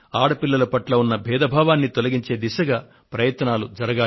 ఆడపిల్లల పట్ల ఉన్న భేదభావాన్ని తొలగించే దిశగా ప్రయత్నాలు జరగాలి